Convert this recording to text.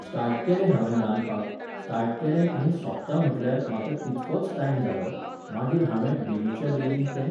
start केलें हावेन रांदपाक, स्टार्ट केलें आनी सोंपता म्हटल्यार म्हाका तितकोच टायम जालो, मागीर हांवें बेगच्याबेगीन तें